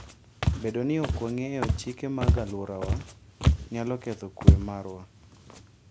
Bedo ni ok wang'eyo chike mag alworawa, nyalo ketho kuwe marwa.